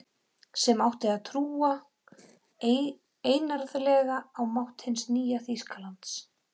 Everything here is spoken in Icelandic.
Sem átti að trúa einarðlega á mátt hins nýja Þýskalands.